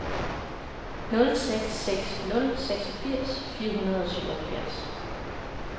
nul seks seks nul seksogfirs fire hundrede og syvoghalvfjerds